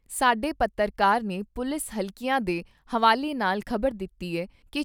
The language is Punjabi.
ਸਾਡੇ ਪੱਤਰਕਾਰ ਨੇ ਪੁਲਿਸ ਹਲਕਿਆਂ ਦੇ ਹਵਾਲੇ ਨਾਲ ਖ਼ਬਰ ਦਿੱਤੀ ਏ ਕਿ